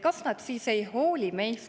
Kas nad siis ei hooli meist?